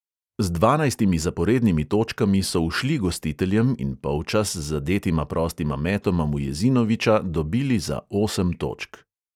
Z dvanajstimi zaporednimi točkami so ušli gostiteljem in polčas z zadetima prostima metoma mujezinoviča dobili za osem točk.